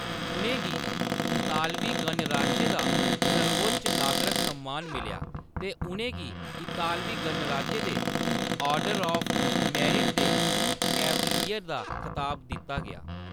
उʼनें गी इतालवी गणराज्य दा सर्वोच्च नागरक सम्मान मिलेआ ते उʼनें गी इतालवी गणराज्य दे ऑर्डर ऑफ मेरिट दे "कैवलियर" दा खताब दित्ता गेआ।